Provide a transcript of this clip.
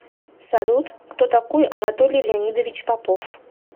салют кто такой анатолий леонидович попов